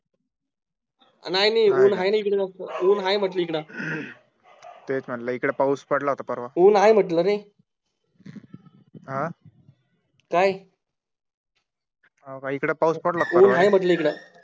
नाही नाहीं ऊन आहे इकडे जास्त ऊन आहे म्हटलं ईकडे तेच म्हटलं इकडे पाऊस पडला होता परवा आहे ऊन आहे म्हटलं रे काय इकडे पाऊस पडला ऊन आहे म्हटलं इकडं